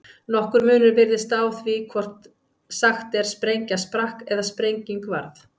Nokkur munur virðist á því hvort sagt er sprengja sprakk eða sprenging varð.